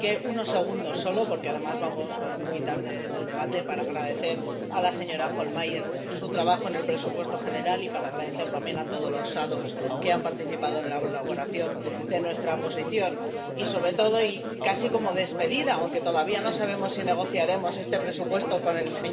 Así que, unos segundos solo, porque además vamos muy tarde en el debate, para agradecer a la señora Hohlmeier su trabajo en el presupuesto general y para dar las gracias también a todos los ponentes alternativos que han participado en la elaboración de nuestra posición. Y, sobre todo y casi como despedida —aunque todavía no sabemos si negociaremos este presupuesto con él